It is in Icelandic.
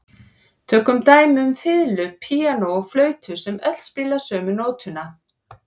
Tökum dæmi um fiðlu, píanó og flautu sem öll spila sömu nótuna.